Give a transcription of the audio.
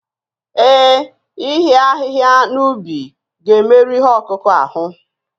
Ee, ịhịa ahịhịa n'ubi ga-emerụ ihe ọkụkụ ahụ